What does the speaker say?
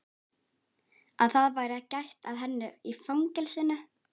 Að það væri gætt að henni í fangelsinu?